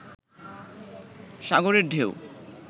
সাগরের ঢেউ